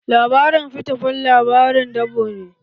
Labarin Fita fan labarin dabo ne